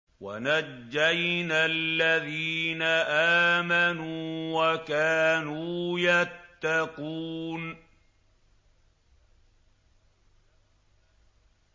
وَنَجَّيْنَا الَّذِينَ آمَنُوا وَكَانُوا يَتَّقُونَ